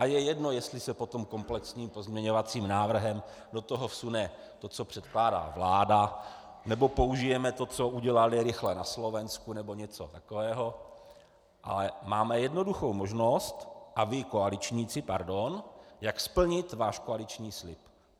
A je jedno jestli se potom komplexním pozměňovacím návrhem do toho vsune to, co předkládá vláda, nebo použijeme to, co udělali rychle na Slovensku, nebo něco takového, ale máme jednoduchou možnost a vy koaličníci, pardon, jak splnit váš koaliční slib.